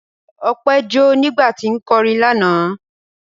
Ọpẹ́ jó nígbà tí ń kọrin lánàá.